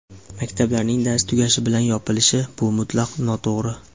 Maktablarning dars tugashi bilan yopilishi — bu mutlaqo noto‘g‘ri.